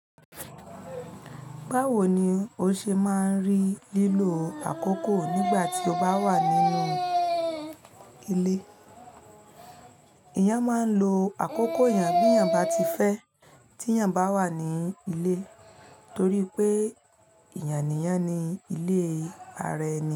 Báwo ni o ṣe máa rí lílo àkókò nígbà tí o bá wà nínú ilé? Ìyán máa ń lo àkókò ìyán bí ìyán bá ti fẹ́ tí ìyán bá wà ní ilé torí pé ìyànìyán ni ilé ara ẹni.